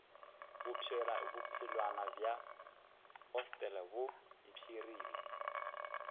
bophelwana bja hostele bo mpshirile